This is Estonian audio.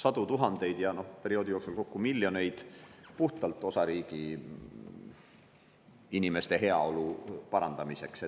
sadu tuhandeid ja perioodi jooksul kokku miljoneid puhtalt osariigi inimeste heaolu parandamiseks.